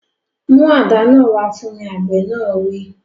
Mú àdá náà wá fún mi! Àgbẹ̀ náà wí.